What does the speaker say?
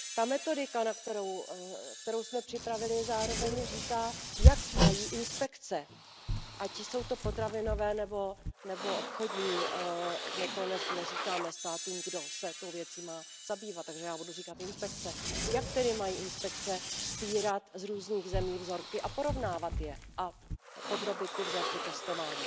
Metodika, kterou jsme připravili, zároveň říká, jak mají inspekce, ať jsou to potravinové nebo obchodní my neříkáme státům, kdo se tou věcí má zabývat, takže já budu říkat inspekce jak tedy mají inspekce sbírat z různých zemí vzorky a porovnávat je a podrobit ty vzorky testování.